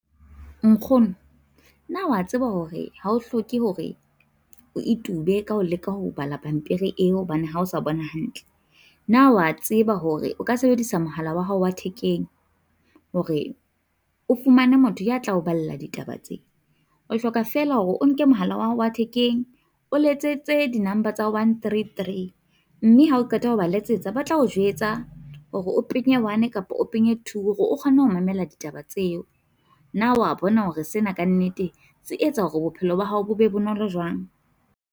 Nkgono, na o a tseba hore ha o hloke hore o itube ka ho leka ho bala pampiri eo hobane ha o sa bona hantle, na o a tseba hore o ka sebedisa mohala wa hao wa thekeng hore o fumane motho ya tla o balla ditaba tse, o hloka fela hore o nke mohala wa hao wa thekeng. O letsetse di-number tsa 133, mme ha o qeta ho ba letsetsa ba tla o jwetsa hore o penye one kapa two hore o kgone ho mamela ditaba tseo. Na o a bona hore sena ka nnete se etsa hore bophelo ba hao bo be bonolo jwang?